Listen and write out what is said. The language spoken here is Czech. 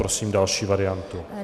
Prosím další variantu.